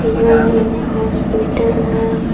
यह एक हॉस्पिटल है।